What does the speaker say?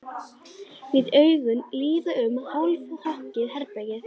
Lét augun líða um hálfrokkið herbergið.